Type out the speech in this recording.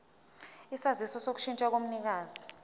isaziso sokushintsha komnikazi